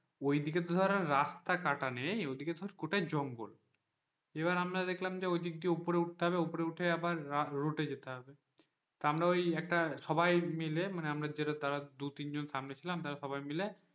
ওইদিকে তো ধর রাস্তা কাটা নেই ওদিকে ধর গোটাই জঙ্গল এবার আমরা দেখলাম যে ওদিকে উপরে উঠতে হবে ওপরে উঠে আবার যেতে হবে তা আমরা ওই একটা সবাই মিলে আমরা যে তারা দু তিনজন সামনে তারা ছিলাম সবাই মিলে,